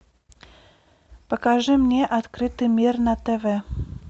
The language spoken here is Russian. покажи мне открытый мир на тв